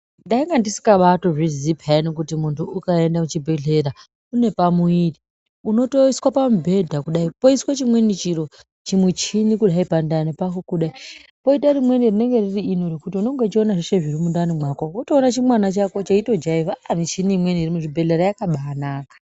Ndainga ndisikatozviziyi peyani kuti muntu ukaenda kuchibhedhlera une pamuviri unotoiswa pamubhedha kudai poiswe chimweni chiro chimushini kudai pandani pako kudai. Koita rimweni rinonga riri ino rekuti unenge uchiona zviri kundani mwako votoona chimwana chako cheitojaivha aa michini imweni iri muzvibhedhleya yakabanaka.